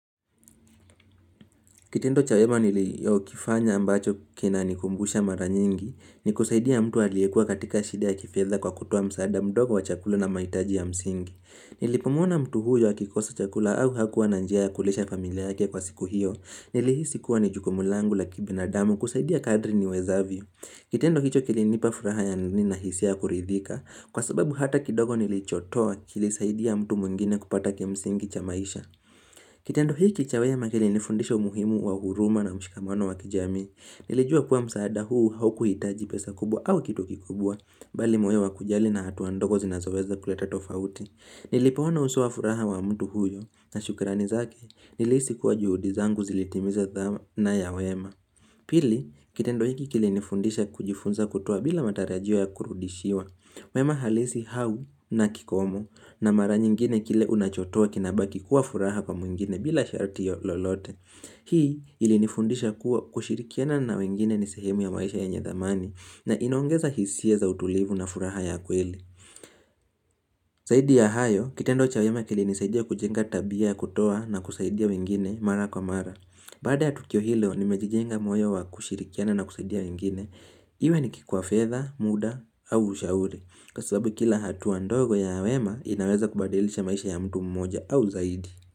Kitendo cha wema niliokifanya ambacho kinanikumbusha mara nyingi ni kusaidia mtu aliyekuwa katika shida ya kifedha kwa kutoa msaada mdogo wa chakula na mahitaji ya msingi. Nilipomuona mtu huyo akikosa chakula au hakuwa na njia ya kulisha familia yake kwa siku hiyo nilihisi kuwa ni jukumu langu la kibinadamu kusaidia kadri niwezavyo. Kitendo hicho kilinipa furaha ya nini na hisia ya kuridhika kwa sababu hata kidogo nilichotoa kilisaidia mtu mwingine kupata kimsingi cha maisha. Kitendo hiki cha wema kilinifundisha umuhimu wa huruma na ushikamano wa kijamii. Nilijua kuwa msaada huu haukuhitaji pesa kubwa au kitu kikubwa bali moyo wa kujali na hatua ndogo zinazoweza kuleta tofauti. Nilipoona uso wa furaha wa mtu huyo na shukrani zake nilihisi kuwa juhudi zangu zilitimiza dhana ya wema. Pili, kitendo hiki kilinifundisha kujifunza kutoa bila matarajio ya kurudishiwa. Mema halisi au na kikomo na mara nyingine kile unachotoa kinabaki kuwa furaha kwa mwingine bila sharti lolote. Hii ilinifundisha kuwa kushirikiana na wengine ni sehemu ya maisha yenye thamani na inaongeza hisia za utulivu na furaha ya kweli. Zaidi ya hayo, kitendo cha wema kilinisaidia kujenga tabia ya kutoa na kusaidia wengine mara kwa mara. Baada ya tukio hilo nimejijenga moyo wa kushirikiana na kusaidia wengine, iwe ni kwa kifedha muda, au ushauri. Kwa sababu kila hatua ndogo ya wema inaweza kubadilisha maisha ya mtu mmoja au zaidi.